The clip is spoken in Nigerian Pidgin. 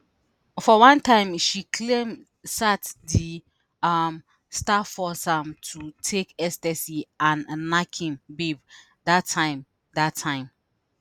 for one time she claim sat di um star force am to take ecstasy and nack im babe dat time dat time